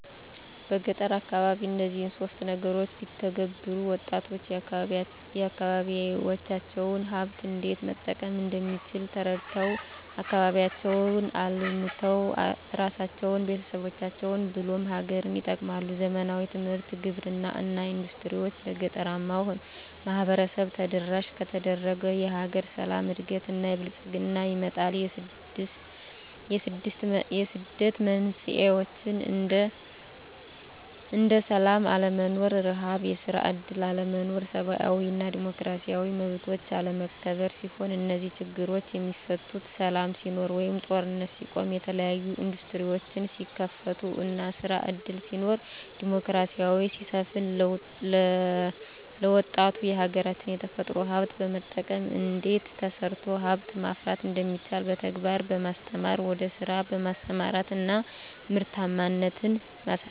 በገጠር አካባቢ እነዚህን ሶስት ነገሮች ቢተገበሩ -ወጣቶች የአካባቢዎቻቸውን ሀብት እንዴት መጠቀም እንደሚችል ተረድተው አካባቢያቸውን አልምተው እራሳቸውን፤ ቤተሰቦቻቸውን ብሎም ሀገርን ይጠቅማሉ። ዘመናዊ ትምህርት፤ ግብርና እና ኢንዱስትሪዎች ለገጠራማው ማህበረሰብ ተደራሽ ከተደረገ የሀገር ሰላም፤ እድገት እና ብልፅግና ይመጣል። የስደት መንስኤዎች እንደ ስላም አለመኖር፤ ርሀብ፤ የስራ እድል አለመኖር፤ ሰብአዊ እና ዲሞክራሲያዊ መብቶች አለመከበር ሲሆኑ -እነዚህ ችግሮች የሚፈቱት ሰላም ሲኖር ወይም ጦርነት ሲቆም፤ የተለያዬ እንዱስትሪዎች ሲከፈቱ እና ስራ እድል ሲኖር፤ ዲሞክራሲ ሲሰፍን፤ ለወጣቱ የሀገራች የተፈጥሮ ሀብት በመጠቀም እንዴት ተሰርቶ ሀብት ማፍራት እንደሚቻል በተግባር በማስተማር ወደ ስራ በማሰማራት እና ምርታማነትን ማሳደግ።